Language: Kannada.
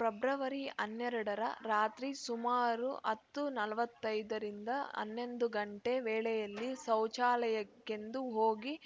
ಫೆಬ್ರವರಿ ಹನ್ನೆರಡ ರ ರಾತ್ರಿ ಸುಮಾರು ಹತ್ತು ನಲವತ್ತೈದ ರಿಂದ ಹನ್ನೊಂದು ಗಂಟೆ ವೇಳೆಯಲ್ಲಿ ಶೌಚಾಲಯಕ್ಕೆಂದು ಹೋಗಿ